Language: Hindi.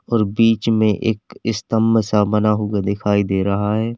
बीच में एक स्तंभ सा बना हुआ दिखाई दे रहा है।